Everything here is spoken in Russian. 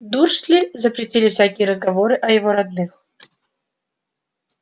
дурсли запретили всякие разговоры о его родных